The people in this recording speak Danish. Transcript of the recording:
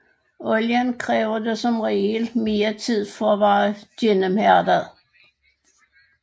Olien kræver dog som regel mere tid for at være gennemhærdet